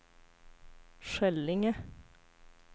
Skällinge